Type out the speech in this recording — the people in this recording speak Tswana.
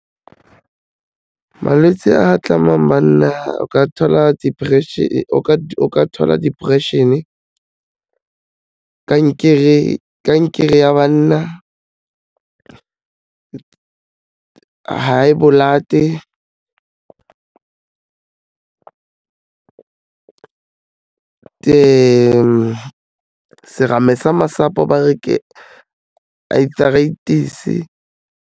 Malwetsi a amang banna o ka thola depression-e, kankere ya banna, high blood-e serame sa masapo ba re ke arthritis-e.